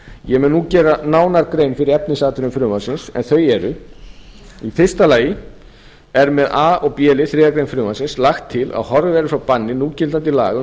ég mun nú gera nánar grein fyrir efnisatriðum frumvarpsins en þau eru í fyrsta lagi er með a og b lið þriðju greinar frumvarpsins lagt til að horfið verði frá banni núgildandi laga um